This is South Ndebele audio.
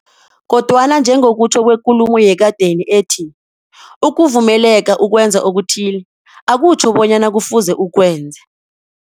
Kodwana njengokutjho kwekulumo yekadeni ethi, ukuvumeleka ukwenza okuthile, akutjho bonyana kufuze ukwenze.